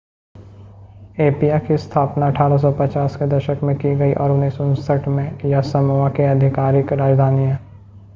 एपिया की स्थापना 1850 के दशक में की गई और 1959 से यह समोआ की आधिकारिक राजधानी है